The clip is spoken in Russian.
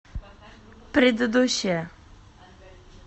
предыдущая